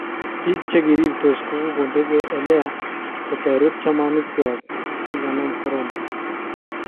Bik chekirirtos kogondege eleya kotoret chamanik kwak chekikanam corona.